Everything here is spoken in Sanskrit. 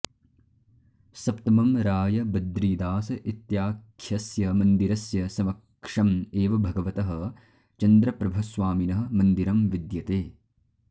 सप्तमं राय बद्रीदास इत्याख्यस्य मन्दिरस्य समक्षम् एव भगवतः चन्द्रप्रभस्वामिनः मन्दिरं विद्यते